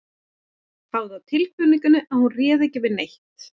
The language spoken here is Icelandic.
Hafði á tilfinningunni að hún réði ekki við neitt.